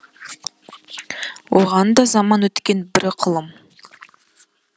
оған да заман өткен бір ықылым